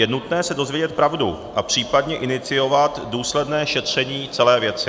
Je nutné se dozvědět pravdu a případně iniciovat důsledné šetření celé věci.